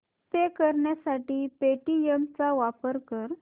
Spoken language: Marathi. पे करण्यासाठी पेटीएम चा वापर कर